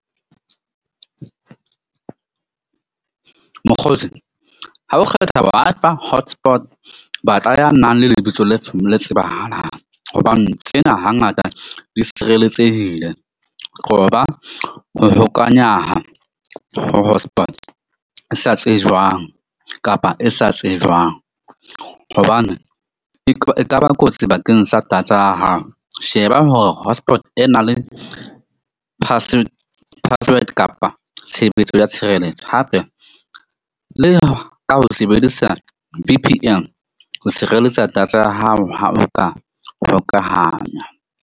Mokgotsi ha o kgetha Wi-Fi hotspot batla ya nang le lebitso le tsebahalang, hobane tsena hangata di sireletsehile. Qoba ho hokanyaha ho hotspot e sa tsejwang kapa e sa tsejwang hobane e e kaba kotsi bakeng sa data ya hao. Sheba hore hotspot ena le password kapa tshebetso ya tshireletso hape le ka ho sebedisa V_P_N ho sireletsa data ya hao ha o ka hokahanya.